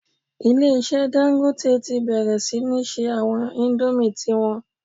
Ilé-ìṣẹ́ Dangote ti bẹ̀rẹ̀ sí ní se àwọn indomie ti wọn